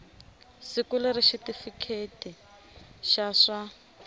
siku leri xitifiketi xa swa